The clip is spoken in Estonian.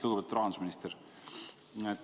Lugupeetud rahandusminister!